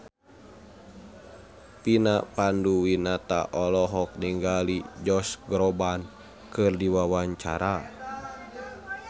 Vina Panduwinata olohok ningali Josh Groban keur diwawancara